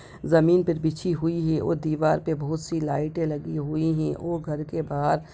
ज़मीन पर बिछी हुई है और दीवार पे बहुत सी लाइटे लगी हुई हैं और घर के बाहर --